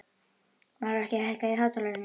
Melrakki, hækkaðu í hátalaranum.